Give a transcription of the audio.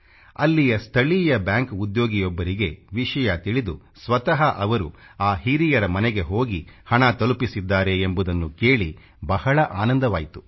ಅಲ್ಲಿಯ ಸ್ಥಳೀಯ ಬ್ಯಾಂಕ್ ಉದ್ಯೋಗಿಯೊಬ್ಬರಿಗೆ ವಿಷಯ ತಿಳಿದು ಸ್ವತಃ ಅವರು ಆ ಹಿರಿಯರ ಮನೆಗೆ ಹೋಗಿ ಹಣ ತಲುಪಿಸಿದ್ದಾರೆ ಎಂಬುದನ್ನು ಕೇಳಿ ಬಹಳ ಆನಂದವಾಯ್ತು